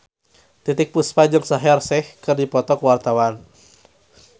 Titiek Puspa jeung Shaheer Sheikh keur dipoto ku wartawan